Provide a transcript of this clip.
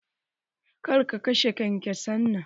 Ka kashe kenkesan nan!